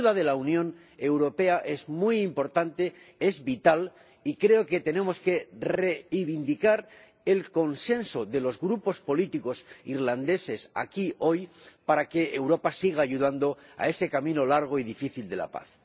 La ayuda de la Unión Europea es muy importante, es vital, y creo que tenemos que reivindicar el consenso de los grupos políticos irlandeses aquí hoy para que Europa siga contribuyendo a ese camino largo y difícil de la paz.